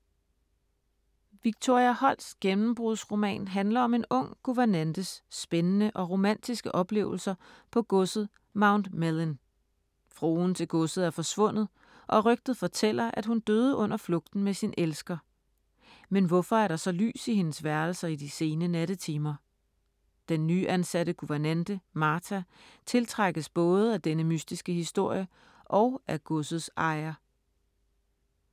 Victoria Holts gennembrudsroman handler om en ung guvernantes spændende og romantiske oplevelser på godset Mount Mellyn. Fruen til godset er forsvundet og rygtet fortæller, at hun døde under flugten med sin elsker. Men hvorfor er der så lys i hendes værelser i de sene nattetimer? Den nyansatte guvernante, Martha, tiltrækkes både af denne mystiske historie og af godsets ejer.